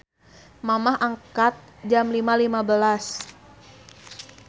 Mamah angkat Jam 5.15